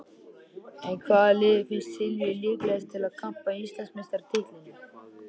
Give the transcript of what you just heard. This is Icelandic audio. En hvaða lið finnst Silvíu líklegast til að hampa Íslandsmeistaratitlinum?